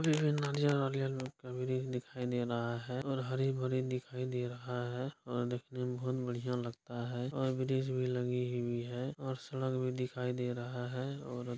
हरियर-हरियर ग्रीन दिखाई दे रहा है और हरी-भरी दिखाई दे रहा है और देखने में बहुत बढ़िया लगता है और गिरिस भी लगी हुई है और सड़क भी दिखाई दे रहा है और--